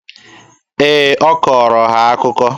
Ee, ọ kọọrọ ha akụkọ.